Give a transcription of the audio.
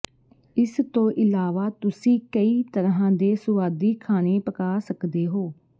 ਇਸ ਤੋਂ ਇਲਾਵਾ ਤੁਸੀਂ ਕਈ ਤਰ੍ਹਾਂ ਦੇ ਸੁਆਦੀ ਖਾਣੇ ਪਕਾ ਸਕਦੇ ਹੋ